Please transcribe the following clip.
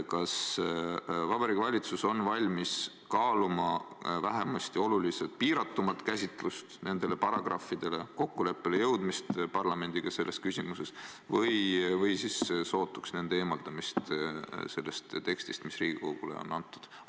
Kas Vabariigi Valitsus on valmis kaaluma vähemasti oluliselt piiratumat käsitlust nende paragrahvide puhul, kokkuleppele jõudmist parlamendiga selles küsimuses või siis sootuks nende punktide eemaldamist sellest tekstist, mis Riigikogule antud?